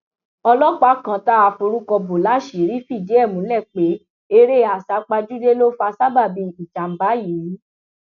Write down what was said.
ọlọpàá kan tá a forúkọ bọ láṣìírí fìdí ẹ múlẹ pé eré àsápajúdé ló fa sábàbí ìjàmbá yìí